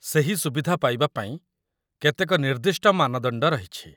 ସେହି ସୁବିଧା ପାଇବାପାଇଁ କେତେକ ନିର୍ଦ୍ଦିଷ୍ଟ ମାନଦଣ୍ଡ ରହିଛି